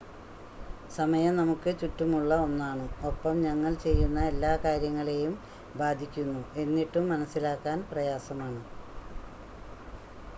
സമയം നമുക്ക് ചുറ്റുമുള്ള ഒന്നാണ് ഒപ്പം ഞങ്ങൾ ചെയ്യുന്ന എല്ലാ കാര്യങ്ങളെയും ബാധിക്കുന്നു എന്നിട്ടും മനസ്സിലാക്കാൻ പ്രയാസമാണ്